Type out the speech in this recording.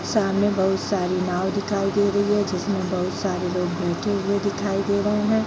सामने बहुत सारी नाव दिखाई दे रही है जिसमें बहुत सारे लोग बैठे हुए दिखाई दे रहे हैं।